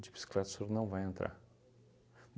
De bicicleta o senhor não vai entrar.